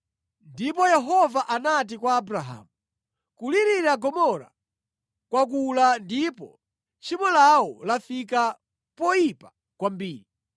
Ndipo Yehova anati kwa Abrahamu, “Kulirira Gomora kwakula ndipo tchimo lawo lafika poyipa kwambiri